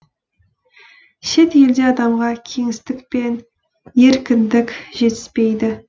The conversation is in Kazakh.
шет елде адамға кеңістік пен еркіндік жетіспейді